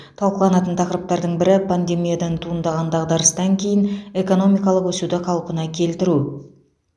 талқыланатын тақырыптардың бірі пандемиядан туындаған дағдарыстан кейін экономикалық өсуді қалпына келтіру